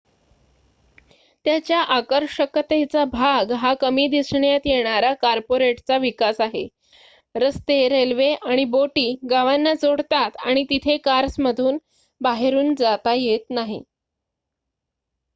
त्याच्या आकर्षकतेचा भाग हा कमी दिसण्यात येणारा कॉर्पोरेटचा विकास आहे रस्ते रेल्वे आणि बोटी गावांना जोडतात आणि तिथे कार्समधून बाहेरुन जाता येत नाही